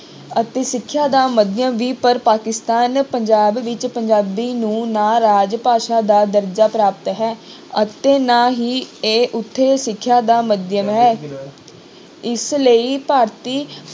ਅਤੇ ਸਿੱਖਿਆ ਦਾ ਮਾਧਿਅਮ ਵੀ ਪਰ ਪਾਕਿਸਤਾਨ ਪੰਜਾਬ ਵਿੱਚ ਪੰਜਾਬੀ ਨੂੰ ਨਾਰਾਜ਼ ਭਾਸ਼ਾ ਦਾ ਦਰਜ਼ਾ ਪ੍ਰਾਪਤ ਹੈ ਅਤੇ ਨਾ ਹੀ ਇਹ ਉੱਥੇ ਸਿੱਖਿਆ ਦਾ ਮਾਧਿਅਮ ਹੈ ਇਸ ਲਈ ਭਾਰਤੀ